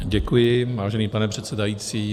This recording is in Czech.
Děkuji, vážený pane předsedající.